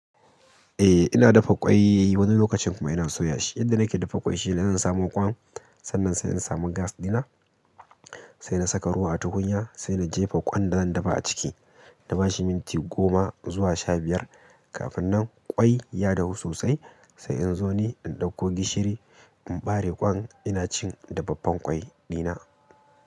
Eh ina dafa ƙwai wani lokacin kuma ina soya shi. Yadda nake dafa ƙwai shine zan samo kwan, sannan sai zan samu gas ɗina, sai na saka ruwa ta kunya, sai na jefa kwan da zan dafa a ciki. Na bashi minti goma zuwa shabiyar, kafin nan ƙwai ya dahu sosai. Sai in zo ni in ɗauko gishiri, in ɓare kwan ina cin dafaffen ƙwai dina.